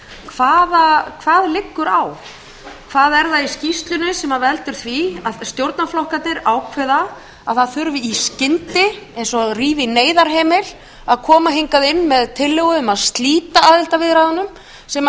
hvað liggur á hvað er það í skýrslunni sem veldur því að stjórnarflokkarnir ákveða að það þurfi í skyndi eins og að rífa í neyðarhemil að koma hingað inn með tillögu um að slíta aðildarviðræðunum sem